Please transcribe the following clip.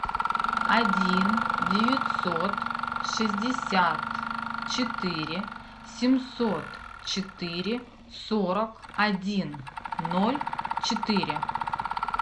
один девятьсот шестьдесят четыре семьсот четыре сорок один ноль четыре